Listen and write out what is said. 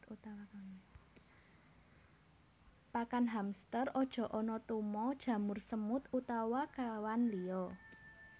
Pakan hamster aja ana tuma jamur semut utawa kewan liya